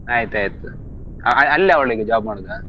ಆಯ್ತಯ್ತು ಅ~ ಅಲ್ಲವಳೀಗ job ಮಾಡೋದ?